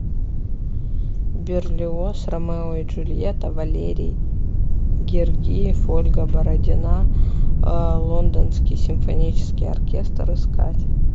берлиоз ромео и джульетта валерий гергиев ольга бородина лондонский симфонический оркестр искать